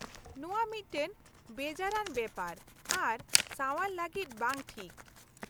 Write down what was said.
- ᱱᱚᱶᱟ ᱢᱤᱫᱴᱟᱝ ᱵᱮᱡᱟᱨ ᱟᱱ ᱵᱮᱯᱟᱨ ᱟᱨ ᱥᱟᱣᱟᱨ ᱞᱟᱹᱜᱤᱫ ᱵᱟᱝ ᱴᱷᱤᱠ ᱾